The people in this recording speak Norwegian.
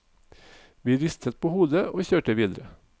Vi ristet på hodet, og kjørte videre.